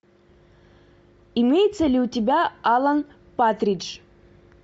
имеется ли у тебя алан партридж